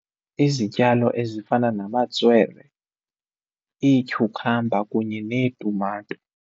Izityalo ezifana namatswelwe, ityhukhamba kunye neetumato.